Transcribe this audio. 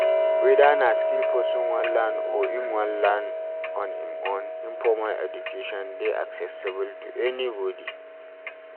Weda na skill person wan learn or im wan learn on im own, informal education dey accessible to anybody